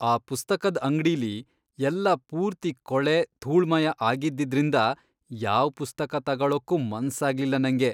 ಆ ಪುಸ್ತಕದ್ ಅಂಗ್ಡಿಲಿ ಎಲ್ಲ ಪೂರ್ತಿ ಕೊಳೆ, ಧೂಳ್ಮಯ ಆಗಿದ್ದಿದ್ರಿಂದ ಯಾವ್ ಪುಸ್ತಕ ತಗೊಳಕ್ಕೂ ಮನ್ಸಾಗ್ಲಿಲ್ಲ ನಂಗೆ.